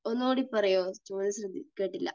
ഒന്നുകൂടി പറയാമോ? ചോദ്യം ശ്രദ്ധി, കേട്ടില്ല.